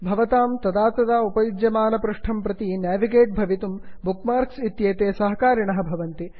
भवन्तः तदा तदा उपयुज्यमानपृष्ठं प्रति गन्तुं भवितुं बुक् मार्क्स् इत्येते सहकारिणः भवन्ति